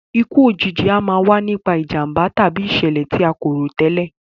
Ikú òjijì a máa wa nipa ìjànbá tàbí ìsẹ̀lẹ̀ ti a ko rò tẹ́lẹ̀